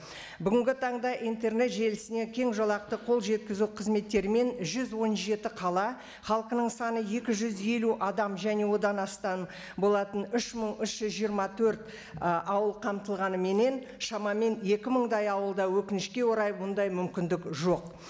бүгінгі таңда интернет желісіне кең жолақты қол жеткізу қызметтерімен жүз он жеті қала халқының саны екі жүз елу адам және одан астан болатын үш мың үш жүз жиырма төрт і ауыл қамтылғаныменен шамамен екі мыңдай ауылда өкінішке орай бұндай мүмкіндік жоқ